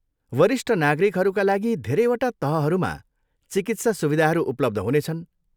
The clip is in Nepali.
वरिष्ठ नागरिकहरूका लागि धेरैवटा तहहरूमा चिकित्सा सुविधाहरू उपलब्ध हुनेछन्।